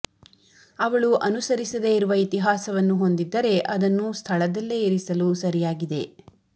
ಅವಳು ಅನುಸರಿಸದೆ ಇರುವ ಇತಿಹಾಸವನ್ನು ಹೊಂದಿದ್ದರೆ ಅದನ್ನು ಸ್ಥಳದಲ್ಲೇ ಇರಿಸಲು ಸರಿಯಾಗಿದೆ